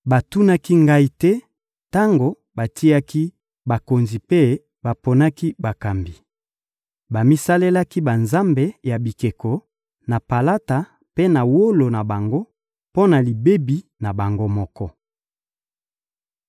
Batunaki Ngai te tango batiaki bakonzi mpe baponaki bakambi. Bamisalelaki banzambe ya bikeko na palata mpe na wolo na bango mpo na libebi na bango moko.